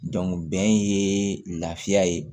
bɛn ye lafiya ye